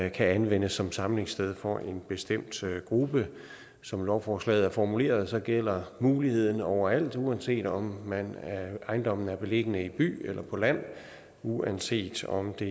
anvendes som samlingssted for en bestemt gruppe som lovforslaget er formuleret gælder muligheden overalt uanset om ejendommen er beliggende i by eller på land uanset om det